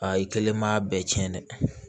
Aa i kelen ma bɛɛ cɛn dɛ